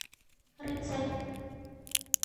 рыцарь